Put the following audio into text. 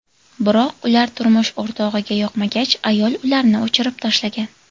Biroq ular turmush o‘rtog‘iga yoqmagach, ayol ularni o‘chirib tashlagan.